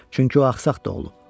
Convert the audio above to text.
Çünki o axsaq doğulub.